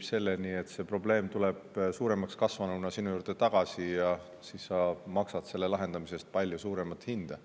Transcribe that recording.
selleni, et see probleem tuleb suuremaks kasvanuna sinu juurde tagasi, ja siis sa maksad selle lahendamise eest palju suuremat hinda.